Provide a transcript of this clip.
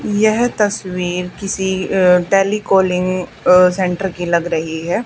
यह तस्वीर किसी अह दिल्ली कॉलिंग सेंटर की लग रही है।